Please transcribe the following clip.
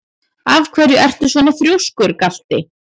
Af hverju ertu svona þrjóskur, Galti?